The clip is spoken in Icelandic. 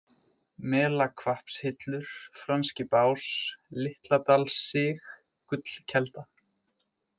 Melahvappshillur, Franski bás, Litladalssig, Gullkelda